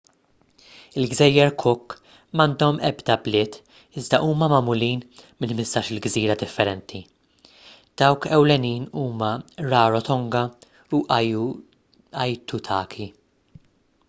il-gżejjer cook m'għandhom ebda bliet iżda huma magħmulin minn 15-il gżira differenti dawk ewlenin huma rarotonga u aitutaki